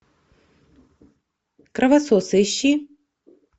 кровососы ищи